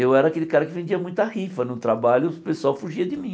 Eu era aquele cara que vendia muita rifa no trabalho e o pessoal fugia de mim.